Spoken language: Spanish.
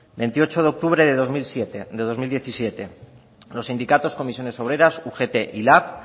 veintiocho de octubre de dos mil diecisiete los sindicatos comisiones obreras ugt y lab